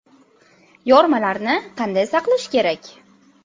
Yormalarni qanday saqlash kerak?